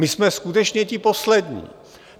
My jsme skutečně ti poslední.